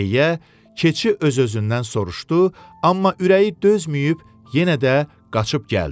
Deyə keçi öz-özündən soruşdu, amma ürəyi dözməyib yenə də qaçıb gəldi.